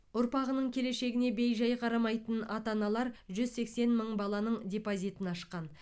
ұрпағының келешегіне бей жай қарамайтын ата аналар жүз сексен мың баланың депозитін ашқан